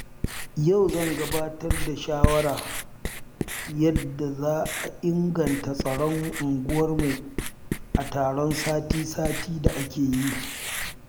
Yau zan gabatar da shawarar yadda za a inganta tsaron unguwarmu a taron sati-sati da muke yi.